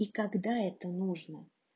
и когда это нужно